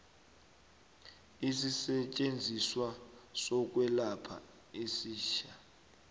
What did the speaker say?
isisetjenziswa sokwelapha esitjha